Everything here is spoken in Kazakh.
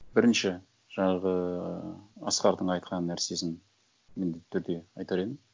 бірінші жаңағы ыыы асқардың айтқан нәрсесін міндетті түрде айтар едім